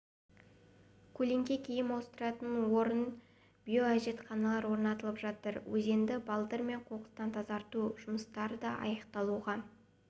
көлеңке киім ауыстыратын орын биоәжетханалар орнатылып жатыр өзенді балдыр мен қоқыстан тазарту жұмыстары да аяқталуға